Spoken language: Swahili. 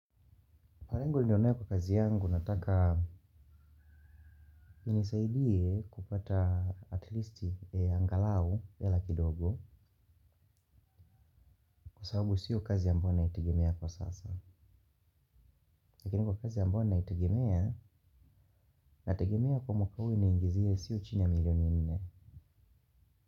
Parangu ndionae kwa kazi yangu nataka inisaidie kupata atlisti angalau ya laki dogo kwa sababu siyo kazi yambo na itagimea kwa sasa. Lakini kwa kazi ambayo naitegemea na itagimea kwa mkawu iniingizie siyo chini ya milioni nne.